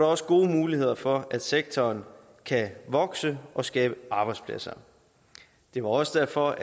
også gode muligheder for at sektoren kan vokse og skabe arbejdspladser det var også derfor